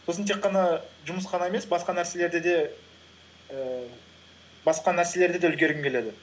сосын тек қана жұмыс қана емес басқа нәрселерді де үлгергім келеді